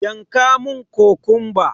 Yanka mun kokumba!